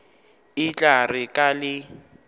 e tla re ka le